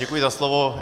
Děkuji za slovo.